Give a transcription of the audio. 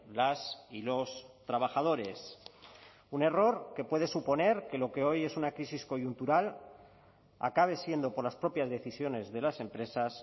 las y los trabajadores un error que puede suponer que lo que hoy es una crisis coyuntural acabe siendo por las propias decisiones de las empresas